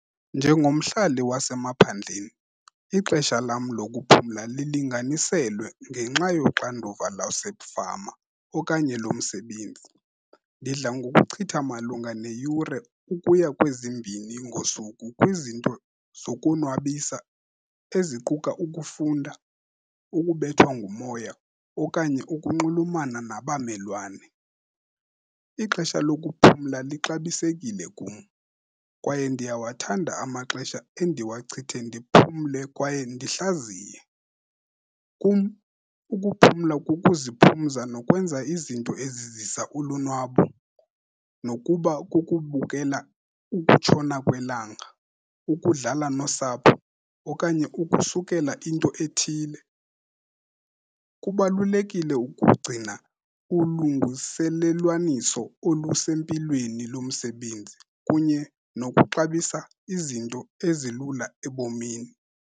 Njengomhlali wasemaphandleni, ixesha lam lokuphumla lilinganiselwe ngenxa yoxanduva lasefama okanye lomsebenzi. Ndidla ngokuchitha malunga neyure ukuya kwezimbini ngosuku kwizinto zokonwabisa eziquka ukufunda, ukubethwa ngumoya okanye ukunxulumana nabammelwane. Ixesha lokuphumla lixabisekile kum kwaye ndiyawathanda amaxesha endiwachithe ndiphumle kwaye ndihlaziye. Kum ukuphumla kukuziphumza nokwenza izinto ezizisa ulonwabo, nokuba kukubukela ukutshona kwelanga, ukudlala nosapho okanye ukusukela into ethile. Kubalulekile ukugcina ulungiselelwaniso olusempilweni lomsebenzi kunye nokuxabisa izinto ezilula ebomini.